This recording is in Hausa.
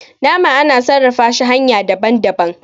nama ana iya sarrag shi hanya daban - daban